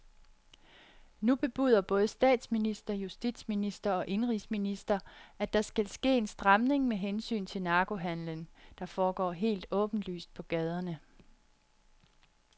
Nu bebuder både statsminister, justitsminister og indenrigsminister, at der skal ske en stramning med hensyn til narkohandelen, der foregår helt åbenlyst på gaderne.